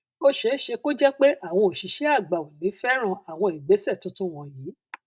ó ṣeé ṣe kó jẹ pé àwọn òṣìṣẹ àgbà ò ní fẹràn àwọn ìgbésẹ tuntun wọnyí